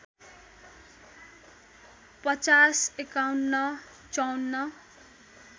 ५० ५१ ५४